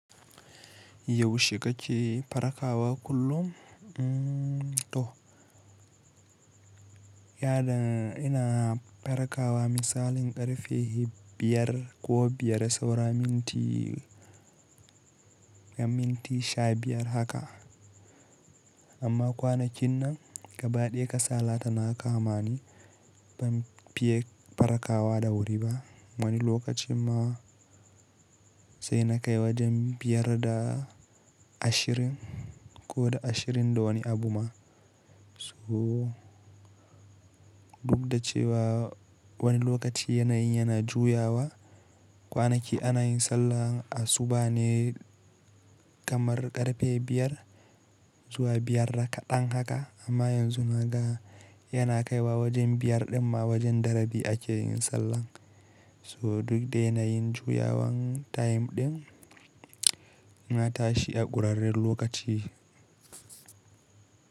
Yaushe ka ke, farkawa kullum to, yaɗin ina farkawa misalin ƙarfe biyar ko biyar da sauramin ti, gam minti sha biyar haka. Amma kwanakin nan gabaɗiya kasala ta naka ma ni ban fiye farkawa da wuri ba. Wani lokacin ma sai na kai wajen biyar da ashirin ko da ashirin da wani abu ma. So duk da cewa wani lokaci yanayin yana juyawa, kwanaki ana yin sallah a suba ne kamar ƙarfe biyar zuwa biyar rakaɗan haka amma yanzu na ga yana kaiwa wajen biyar ɗin ma wajen darabi ake yin sallah. So duk da yanayin juyawan time ɗin na tashi a ƙurarren lokaci.